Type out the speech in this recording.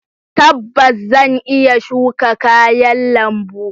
Tabbas! Zan iya shuka kayan lambu.